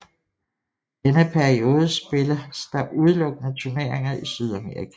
I denne periode spilles der udelukkende turneringer i Sydamerika